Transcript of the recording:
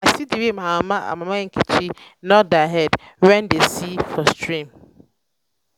i see the way my mama and mama nkechi nod their head wen dey see for stream